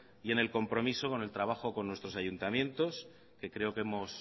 y en el compromiso con el trabajo con nuestros ayuntamientos que creo que hemos